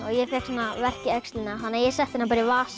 ég fékk svona verk í öxlina þannig að ég setti hana í vasann